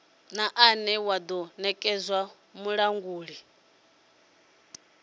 une wa do nekedzwa mulanguli